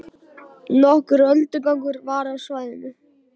Nokkur öldugangur var á svæðinu